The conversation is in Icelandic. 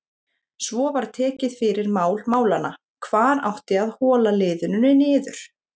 Svo var tekið fyrir mál málanna: Hvar átti að hola liðinu niður?